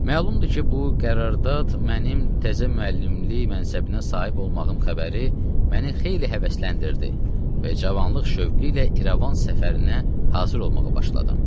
Məlumdur ki, bu qərardad mənim təzə müəllimlik mənsəbinə sahib olmağım xəbəri məni xeyli həvəsləndirdi və cavanlıq şövqü ilə İrəvan səfərinə hazır olmağa başladım.